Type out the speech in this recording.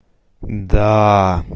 да